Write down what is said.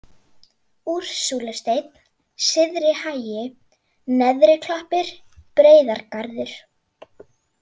Úrsúlusteinn, Syðri-Hagi, Neðri-Klappir, Breiðargarður